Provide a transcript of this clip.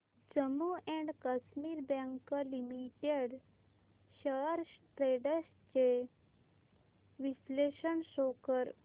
Jammu and Kashmir bank limited shares trends चे विश्लेषण show कर